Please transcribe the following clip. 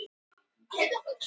Þórshamri